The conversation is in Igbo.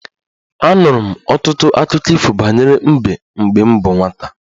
Anụrụ m ọtụtụ akụkọ ifo banyere mbe mgbe m bụ nwata